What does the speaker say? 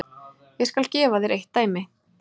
Ég skal gefa þér eitt dæmi.